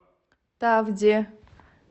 тавде